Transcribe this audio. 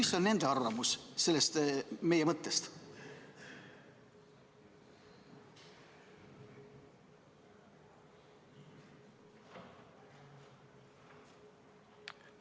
Ja kui on, siis mis on nende arvamus sellest meie mõttest?